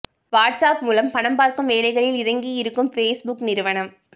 watts app மூலம் பணம் பார்க்கும் வேலைகளில் இறங்கியிருக்கும் ஃபேஸ்புக் நிறுவனம்